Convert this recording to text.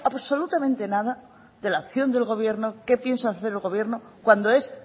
absolutamente nada de la opción del gobierno qué piensa hacer el gobierno cuando es